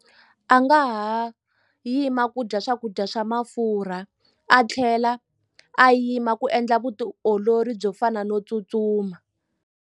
A nga ha yima ku dya swakudya swa mafurha a tlhela a yima ku endla vutiolori byo fana no tsutsuma.